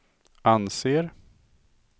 anser